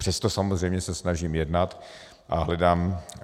Přesto samozřejmě se snažím jednat a hledám.